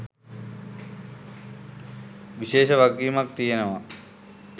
විශේෂ වගකීමක් තියෙනවා